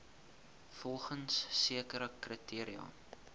volgens sekere kriteria